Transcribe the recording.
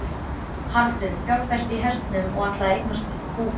Haraldur fjárfesti í hestum og ætlaði að eignast búgarð.